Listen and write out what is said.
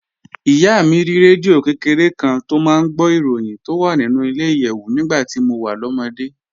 Ìyá mi ní rédíò kékeré kan tó máa ń gbọ́ ìròyìn tó wà nínú ilẹ̀-ìyẹ̀wù nígbà tí mo wà lọ́mọdé